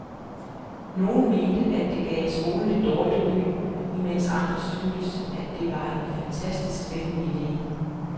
Nogen mente, at det gav skolen et dårligt ry, imens andre syntes, at det var en fantastisk spændende ide.